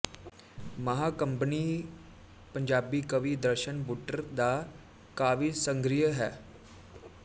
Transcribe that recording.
ਮਹਾਂ ਕੰਬਣੀ ਪੰਜਾਬੀ ਕਵੀ ਦਰਸ਼ਨ ਬੁੱਟਰ ਦਾ ਕਾਵਿਸੰਗ੍ਰਹਿ ਹੈ